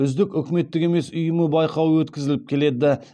үздік үкіметтік емес ұйымы байқауы өткізіліп келеді